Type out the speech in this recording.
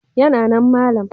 Yana nan malam.